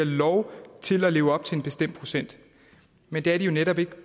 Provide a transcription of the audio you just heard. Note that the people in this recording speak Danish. lov til at leve op til en bestemt procent men det er de jo netop ikke